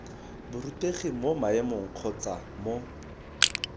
borutegi mo maemong kgotsa mo